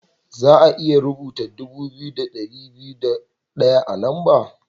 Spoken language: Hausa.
Za'a iya rubuta dubu biyu da dari biyu da daya a'lamba.